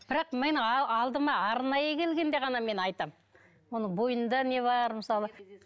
бірақ мен а алдыма арнайы келгенде ғана мен айтамын оның бойында не бар мысалы